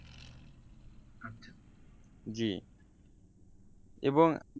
জি এবং